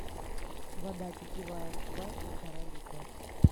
вода питьевая кубай полтора литра